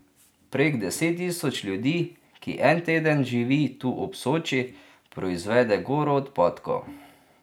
Prek deset tisoč ljudi, ki en teden živi tu ob Soči, proizvede goro odpadkov.